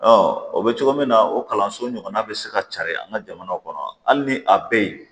o bɛ cogo min na o kalanso ɲɔgɔnna bɛ se ka carin an ka jamanaw kɔnɔ hali ni a bɛ yen